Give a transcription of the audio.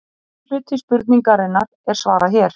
Fyrri hluta spurningarinnar er svarað hér.